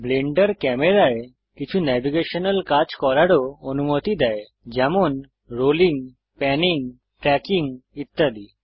Blender ক্যামেরায় কিছু navigational কাজ করারও অনুমতি দেয় যেমন রোলিং প্যানিং ট্র্যাকিং ইত্যাদি